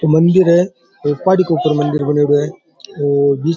मंदिर है एक पहाड़ी के ऊपर मंदिर बणयोडो है और --